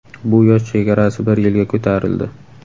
Bu yosh chegarasi bir yilga ko‘tarildi.